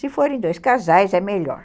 Se forem dois casais é melhor.